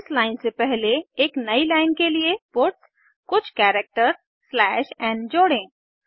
इस लाइन से पहले एक नयी लाइन के लिए पट्स कुछ कैरेक्टर्स स्लैश एन जोड़ें